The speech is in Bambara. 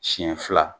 Siɲɛ fila